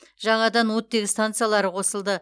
жаңадан оттегі стансалары қосылды